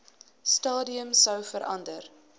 stadium sou verander